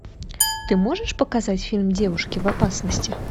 ты можешь показать фильм девушки в опасности